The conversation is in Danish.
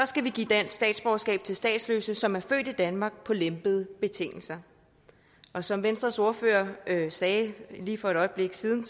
skal vi give dansk statsborgerskab til statsløse som er født i danmark på lempede betingelser og som venstres ordfører sagde lige for et øjeblik siden